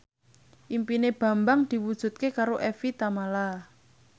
impine Bambang diwujudke karo Evie Tamala